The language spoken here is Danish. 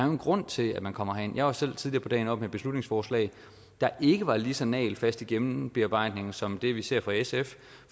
en grund til at man kommer herind jeg var selv tidligere på dagen oppe med et beslutningsforslag der ikke var lige så nagelfast i gennembearbejdningen som det vi ser her fra sf